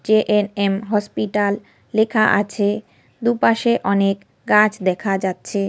JNM. Hospital লেখা আছে। দু পাশে অনেক গাছ দেখা যাচ্ছে-এ।